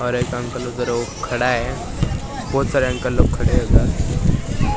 और एक अंकल उधर वो खड़ा है बहुत सारे अंकल लोग खड़े हैं उधर।